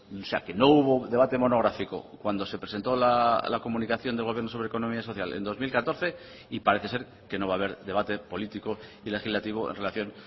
o sea que no hubo debate monográfico cuando se presentó la comunicación del gobierno sobre economía social en dos mil catorce y parece ser que no va a haber debate político y legislativo en relación